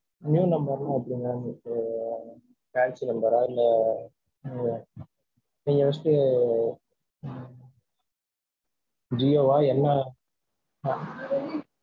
New number னா எப்படி ma'm? இப்போ fancy number ஆ இல்ல உம் ஜியோவா, என்ன?